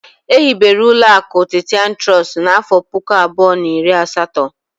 Ehibere uloaku Titan Trust n'afo puku abuo na iri asato.